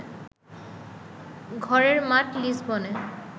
ঘরের মাঠ লিসবনে